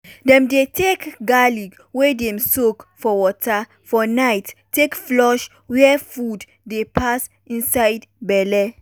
dem dey take garlic wey dem soak for water for night take flush where food dey pass inside belle.